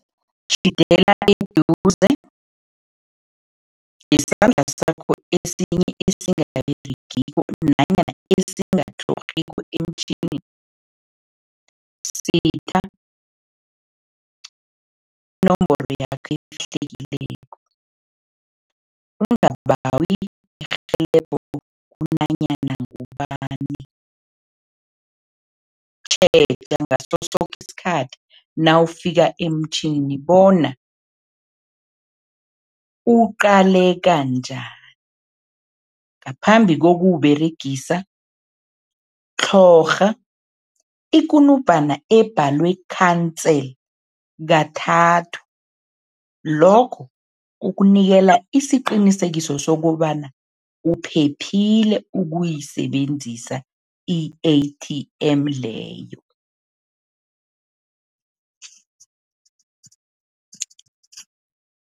Eduze ngesandla sakho esinye esingaberegiko nanyana esingatlhorhiko emtjhinini, usitha inomboro yakho efihlekileko. Ungabawi irhelebho kunanyana ngubani. Tjheja ngaso soke isikhathi nawufika emtjhinini bona uqaleka njani. Ngaphambi kokuwUberegisa, tlhorha ikunubhana ebhalwe cancel kathathu, lokho kukunikela isiqinisekiso sokobana uphephile ukuyisebenzisa i-A_T_M leyo.